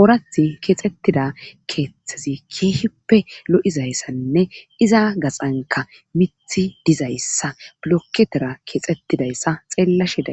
oorath keexxettida keeththezi keehippe lo'izayssanne iza gaxanka mithi dizayssa blokketera keexetidayssa xeellashe da.